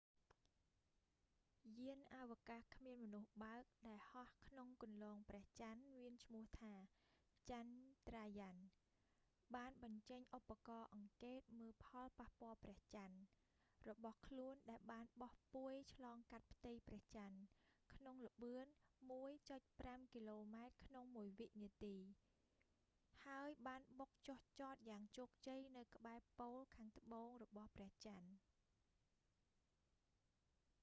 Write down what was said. យានអាវកាសគ្មានមនុស្សបើកដែលហោះក្នុងគន្លងព្រះចន្ទមានឈ្មោះថា ចាន់ដ្រាយ៉ាន់chandarayaan-1 បានបញ្ចេញឧបករណ៍អង្កេតមើលផលប៉ះពាល់ព្រះចន្ទ mip របស់ខ្លួនដែលបានបោះពួយឆ្លងកាត់ផ្ទៃព្រះចន្ទ ក្នុងល្បឿន ១.៥ គីឡូម៉ែត្រក្នុងមួយវិនាទី៣០០០ ម៉ាយល៍ក្នុងមួយម៉ោង ហើយបានបុកចុះចតយ៉ាងជោគជ័យនៅក្បែរប៉ូលខាងត្បួងរបស់ព្រះចន្ទ។